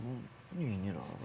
Dedi ya bu neyniyir axı?